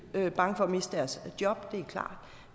er bange for at miste deres job